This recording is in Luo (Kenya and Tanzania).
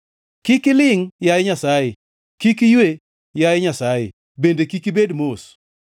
Kik ilingʼ, yaye Nyasaye; kik iywe, yaye Nyasaye, bende kik ibed mos.